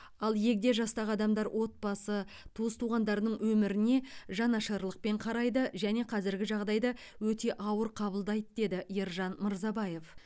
ал егде жастағы адамдар отбасы туыс туғандарының өміріне жанашырлықпен қарайды және қазіргі жағдайды өте ауыр қабылдайды деді ержан мырзабаев